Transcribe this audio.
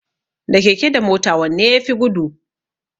Da keke da mota wanne yafi gudu?